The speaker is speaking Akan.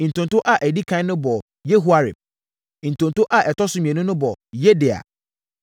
Ntonto a ɛdi ɛkan no bɔɔ Yehoiarib. Ntonto a ɛtɔ so mmienu no bɔɔ Yedaia.